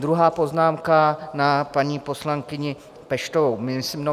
Druhá poznámka na paní poslankyni Peštovou.